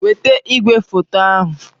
Weta igwefoto ahu!